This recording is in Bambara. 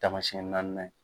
Taamasiyɛn naaninan ye.